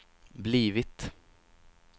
blivit